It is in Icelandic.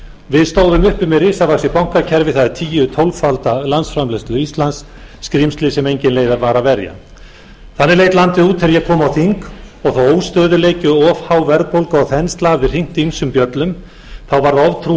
við stóðum uppi með risavaxið bankakerfi það er tíu eða tólf ala landsframleiðslu íslands skrímsli sem engin leið var að verja þannig leit landið út þegar ég kom á þing og sá óstöðugleiki og of há verðbólga og of há verðbólga og þensla hafði hringt ýmsum bjöllum þá varð oftrú